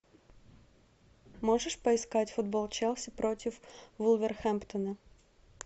можешь поискать футбол челси против вулверхэмптона